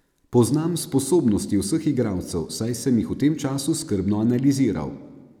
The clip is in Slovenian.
Poznam sposobnosti vseh igralcev, saj sem jih v tem času skrbno analiziral.